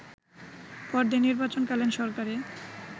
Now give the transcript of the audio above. পরদিন নির্বাচনকালীন সরকারে